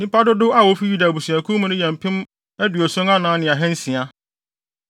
Nnipa dodow a wofi Yuda abusuakuw no mu no yɛ mpem aduɔson anan ne ahansia (74,600).